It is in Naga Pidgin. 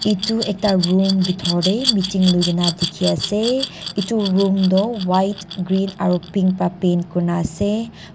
etu ekta room bethor te meeting loi kina dekhi ase etu room to white green aru pink para paint kori na ase.